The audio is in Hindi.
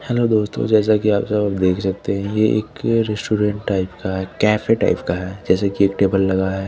हेलो दोस्तों जैसा की आप सब देख सकते है ये एक स्टूडेंट टाइप का है केफे टाइप का है जैसे की एक टेबल लगा है।